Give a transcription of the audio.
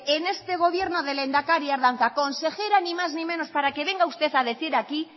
en este gobierno del lehendakari ardanza consejera ni más ni menos para que venga usted a decir aquí